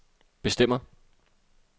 bestemmer